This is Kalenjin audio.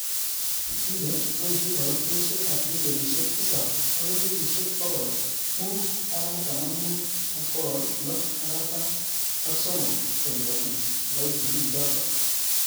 Kile boishe kaitoshek ab milionishek tisab akelibusheek bokol mit ak artam ak mut ak bokol lo ak artam.ak somok. koliponi kiboitinik chotok.